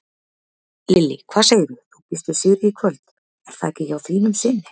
Lillý: Hvað segirðu, þú býst við sigri í kvöld er það ekki hjá þínum syni?